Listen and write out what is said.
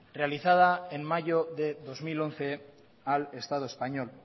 realizada en mayo de dos mil once al estado español